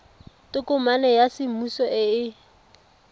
tokomane ya semmuso e e